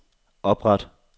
opret